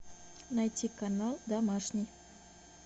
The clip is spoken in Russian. найти канал домашний